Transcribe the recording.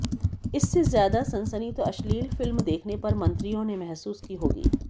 इससे ज्यादा सनसनी तो अश्लील फिल्म देखने पर मंत्रियों ने महसूस की होगी